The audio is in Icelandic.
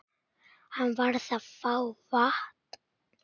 Hann varð að fá vatn.